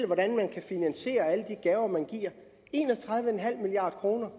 hvordan man kan finansiere alle de gaver man giver en og tredive milliard kroner